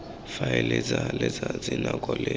difaele tsa letsatsi nako le